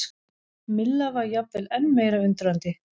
Milla var jafnvel enn meira undrandi.